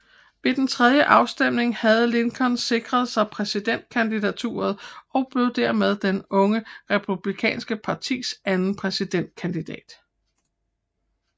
Ved tredje afstemning havde Lincoln sikret sig præsidentkandidaturet og blev dermed det unge republikanske partis anden præsidentkandidat